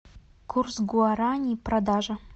курс гуарани продажа